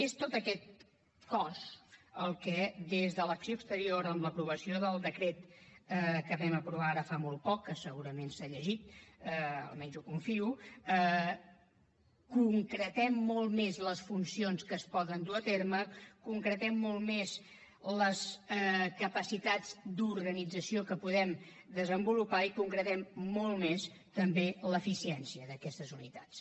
és tot aquest cos el que des de l’acció exterior amb l’aprovació del decret que vam aprovar ara fa molt poc que segurament s’ha llegit almenys ho confio concretem molt més les funcions que es poden dur a terme concretem molt més les capacitats d’organització que podem desenvolupar i concretem molt més també l’eficiència d’aquestes unitats